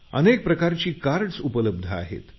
अनेक प्रकारचे कार्डस उपलब्ध आहेत